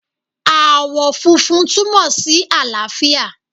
Ààwọ̀ funfun túmọ̀ sí àlàáfíà